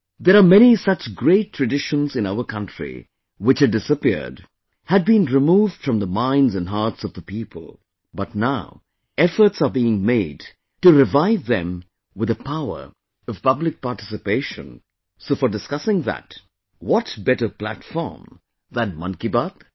There are many such great traditions in our country which had disappeared, had been removed from the minds and hearts of the people, but now efforts are being made to revive them with the power of public participation, so for discussing that... What better platform than 'Mann Ki Baat'